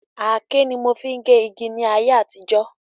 Àáké ni a mo n fi ge igi ní ayé àtijó